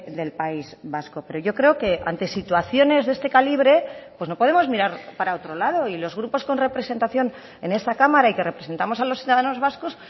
del país vasco pero yo creo que ante situaciones de este calibre pues no podemos mirar para otro lado y los grupos con representación en esta cámara y que representamos a los ciudadanos vascos